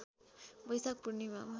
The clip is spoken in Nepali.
बैशाख पूर्णिमामा